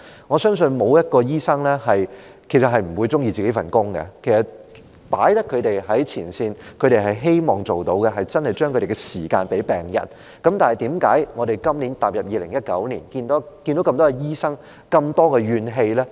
我相信沒有醫生不喜歡自己的工作，既然他們身處前線，他們便希望真的能夠花時間在病人身上，但為何今年，踏入2019年，我們看見這麼多醫生充斥着怨氣？